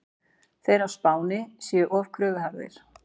Þeir á Spáni séu of kröfuharðir.